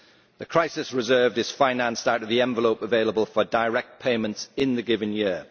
The crisis reserve is financed out of the envelope available for direct payments in the given year.